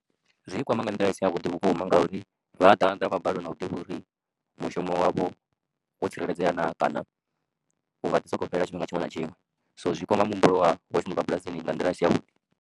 Zwi kwama nga nḓila i si yavhuḓi vhukuma ngauri vha ḓaḓa vha balelwa na u ḓivha uri mushumo wavho wo tsireledzea naa kana u nga ḓi sokou fhela tshifhinga tshiṅwe na tshiṅwe so zwi kwama muhumbulo wa vhashumi vha bulasini nga nḓila a si yavhuḓi.